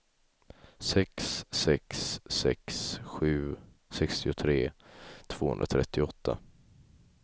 sex sex sex sju sextiotre tvåhundratrettioåtta